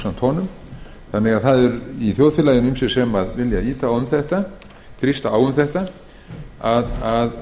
sér í baráttusveit með honum góður í þjóðfélaginu eru ýmsir sem vilja ýta á og þrýsta á að